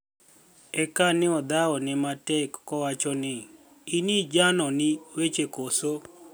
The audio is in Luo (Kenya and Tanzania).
"Eka ni e adhawoni e matek, kawachoni e nii, 'Ini janoni weche koso?'